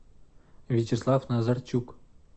вячеслав назарчук